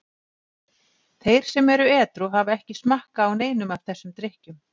Þeir sem eru edrú hafa ekki smakkað á neinum af þessum drykkjum.